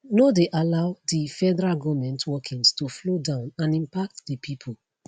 no dey allow di federal goment workings to flow down and impact di pipo